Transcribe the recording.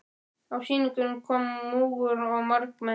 Á sýninguna kom múgur og margmenni.